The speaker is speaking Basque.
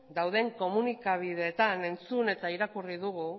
dauden komunikabideetan entzun eta irakurri dugu